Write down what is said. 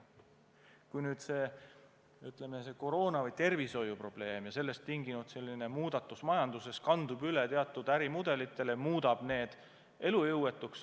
Kui koroona- või tervishoiuprobleem ja sellest tingitud muutused majanduses kanduvad üle teatud ärimudelitele, siis muudab see need elujõuetuks.